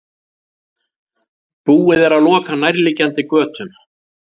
Búið er að loka nærliggjandi götum